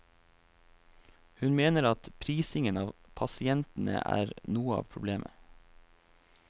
Hun mener at prisingen av pasientene er noe av problemet.